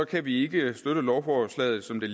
kan vi ikke støtte lovforslaget som det